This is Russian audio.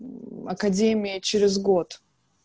академия через год